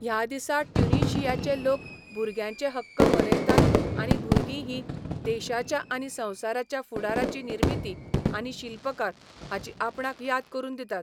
ह्या दिसा ट्युनिशियाचे लोक भुरग्यांचे हक्क मनयतात आनी भुरगीं हीं देशाच्या आनी संवसाराच्या फुडाराचीं निर्मातीं आनी शिल्पकार हाची आपणाक याद करून दितात.